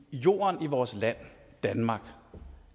jorden i vores land danmark